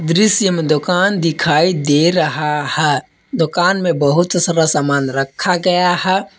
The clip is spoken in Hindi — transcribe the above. दृश्य में दुकान दिखाई दे रहा है दुकान में बहुत सारा सामान रखा गया है।